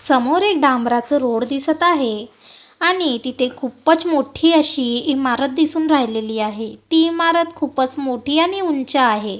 समोर एक डांबराचं रोड दिसत आहे आणि तिथे खूपच मोठी अशी इमारत दिसून राहिलेली आहे ती इमारत खूपच मोठी आणि उंच आहे.